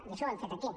i això ho hem fet aquí